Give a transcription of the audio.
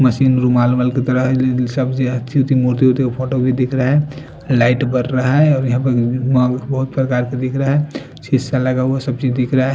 Machine रुमाल माल की तरह सब्ज मूर्ति उत्ती फोटो भी दिख रहे हैं लाइट बर रहा है और यहां पर हुअ भी बहुत प्रकार क दिख रहे ह शीशा लगा हुआ सब् चिज़ दिख रहा है।